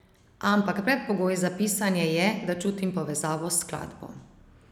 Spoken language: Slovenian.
Ampak predpogoj za pisanje je, da čutim povezavo s skladbo.